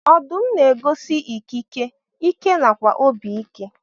Ọdụm na egosi ikike, ike nakwa obi ike.